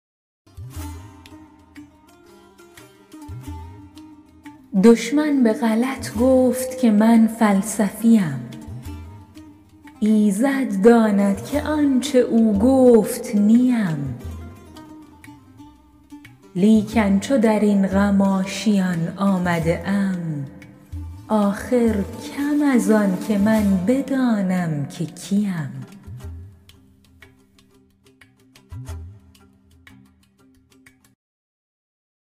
دشمن به غلط گفت که من فلسفی ام ایزد داند که آنچه او گفت نی ام لیکن چو در این غم آشیان آمده ام آخر کم از آنکه من بدانم که کی ام